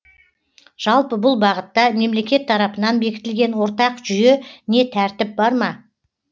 жалпы бұл бағытта мемлекет тарапынан бекітілген ортақ жүйе не тәртіп бар ма